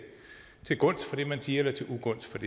til gunst for det man siger eller til ugunst